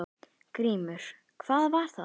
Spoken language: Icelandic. GRÍMUR: Hvað var það?